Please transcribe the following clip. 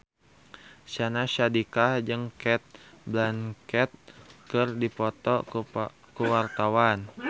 Syahnaz Sadiqah jeung Cate Blanchett keur dipoto ku wartawan